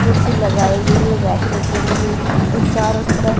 कुर्सी लगाई गई है बैठने के लिए और चारों तरफ--